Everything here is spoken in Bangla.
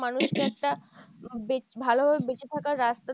মানুষকে একটা বেচ~ ভালোভাবে বেঁচে থাকার রাস্তা